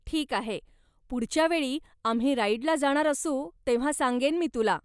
ठीक आहे, पुढच्यावेळी आम्ही राईडला जाणार असू, तेव्हा सांगेन मी तुला.